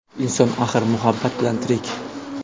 Inson axir muhabbat bilan tirik.